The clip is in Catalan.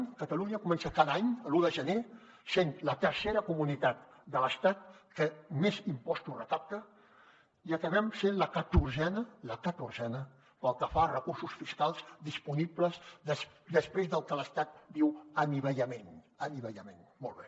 si catalunya comença cada any l’un de gener sent la tercera comunitat de l’estat que més impostos recapta i acabem sent la catorzena la catorzena pel que fa a recursos fiscals disponibles després del que l’estat en diu anivellament molt bé